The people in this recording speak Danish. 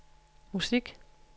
musik